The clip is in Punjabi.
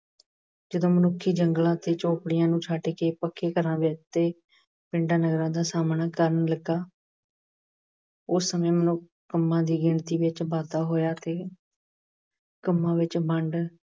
ਜਦੋਂ ਮਨੁੱਖ ਜੰਗਲ ਅਤੇ ਝੌਪੜਿਆਂ ਨੂੰ ਛੱਡ ਕੇ ਪੱਕੇ ਘਰਾਂ ਦੇ ਉਤੇ ਪਿੰਡਾਂ, ਨਗਰਾਂ ਦਾ ਸਾਹਮਣਾ ਕਰਨ ਲੱਗਾ ਉਸ ਸਮੇਂ ਮਨੁੱਖ ਕੰਮਾਂ ਦੀ ਗਿਣਤੀ ਵਿੱਚ ਵਾਧਾ ਹੋਇਆ ਅਤੇ ਕੰਮਾਂ ਵਿੱਚ ਵੰਡ